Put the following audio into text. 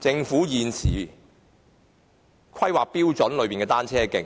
政府現時的規劃標準，在市區設立單車徑。